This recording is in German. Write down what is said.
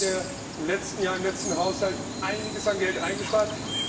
Wir haben im letzten Jahr, im letzten Haushalt einiges an Geld eingespart.